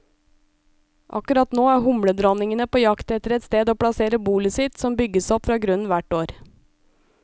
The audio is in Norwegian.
Akkurat nå er humledronningene på jakt etter et sted å plassere bolet sitt, som bygges opp fra grunnen hvert år.